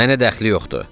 Mənə dəxli yoxdur.